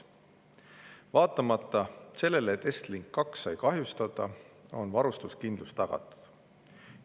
Vaatamata sellele, et Estlink 2 sai kahjustada, on varustuskindlus tagatud.